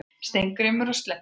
Steingrímur og Sledda,